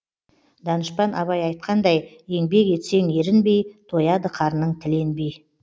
данышпан абай айтқандай еңбек етсең ерінбей тояды қарның тіленбей